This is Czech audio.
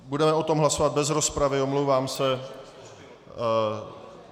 Budeme o tom hlasovat bez rozpravy, omlouvám se.